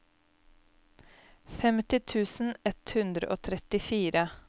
femti tusen ett hundre og trettifire